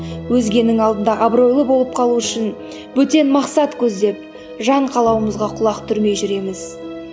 өзгенің алдында абыройлы болып қалу үшін бөтен мақсат көздеп жан қалауымызға құлақ түрмей жүреміз